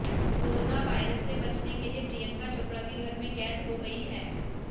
corona virus से बचने के लिए प्रियंका चोपड़ा भी घर में कैद हो गई हैं